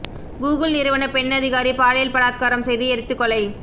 Google நிறுவன பெண் அதிகாரி பாலியல் பலாத்காரம் செய்து எரித்து கொலை